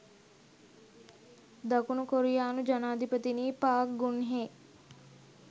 දකුණු කොරියානු ජනාධිපතිනි පාක් ගුන්හේ